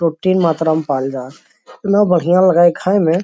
Protein मात्रा में पाएल जाल एतना बढ़िया लगा हई खाए में।